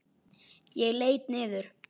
Ég leit niður.